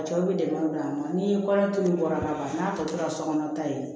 A cɛw bɛ dɛmɛ don an ma ni kɔɲɔ toli bɔra ka ban n'a tɔ tora sokɔnɔ ta ye